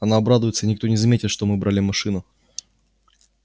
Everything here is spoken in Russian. она обрадуется и никто не заметит что мы брали машину